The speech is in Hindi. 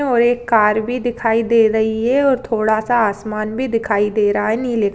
और एक कार भी दिखाई दे रही हैं और थोड़ा स आसमान भी दिखाई दे रहा है।